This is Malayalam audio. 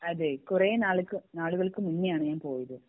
കുറെ നാൾക്ക് നാളുകൾക്ക് മുന്നേ ആണ് ഞാൻ പോയത്